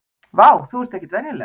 Vá, þú ert ekkert venjuleg!